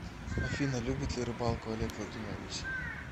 афина любит ли рыбалку олег владимирович